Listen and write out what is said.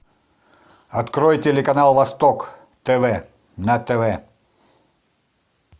открой телеканал восток тв на тв